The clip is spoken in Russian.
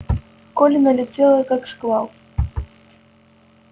колли налетела как шквал